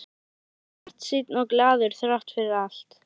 Hann var bjartsýnn og glaður þrátt fyrir allt.